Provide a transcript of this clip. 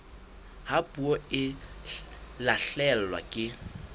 ha puo e lahlehelwa ke